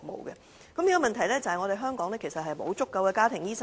現在的問題是，香港沒有足夠的家庭醫生。